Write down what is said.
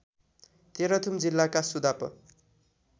तेह्रथुम जिल्लाका सुदाप